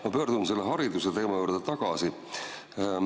Ma pöördun selle hariduse teema juurde tagasi.